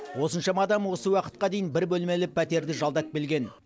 осыншама адам осы уақытқа дейін бір бөлмелі пәтерді жалдап келген